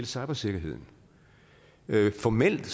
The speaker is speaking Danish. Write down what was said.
cybersikkerheden formelt